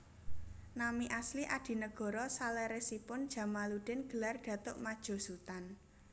Nami asli Adinegoro saleresipun Djamaluddin gelar Datuk Madjo Sutan